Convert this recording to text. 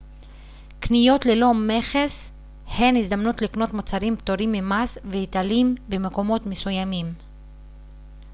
קניות ללא מכס הן הזדמנות לקנות מוצרים פטורים ממס והיטלים במקומות מסוימים